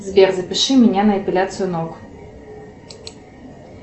сбер запиши меня на эпиляцию ног